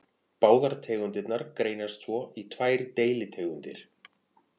Báðar tegundirnar greinast svo í tvær deilitegundir.